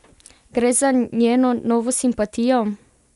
Gre za njeno novo simpatijo?